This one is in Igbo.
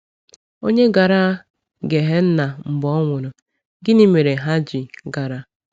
Ònye gara Gehenna mgbe ọ nwụrụ, gịnị mere ha ji gara?